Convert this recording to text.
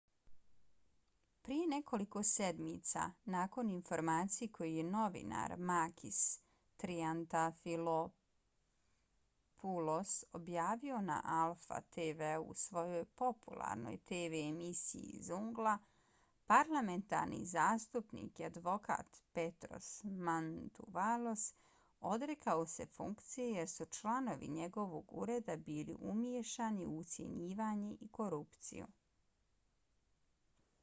prije nekoliko sedmica nakon informacije koju je novinar makis triantafylopoulos objavio na alpha tv-u u svojoj popularnoj tv emisiji zoungla parlamentarni zastupnik i advokat petros mantouvalos odrekao se funkcije jer su članovi njegovog ureda bili umiješani u ucjenjivanje i korupciju